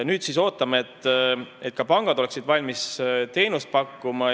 Nüüd ootame, et ka pangad oleksid valmis teenust pakkuma.